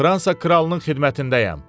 Fransa kralının xidmətindəyəm.